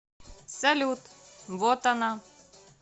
салют вот она